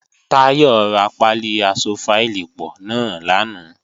Táyọ̀ ra pálí aṣọ fáìlì pọ̀ náà lánàá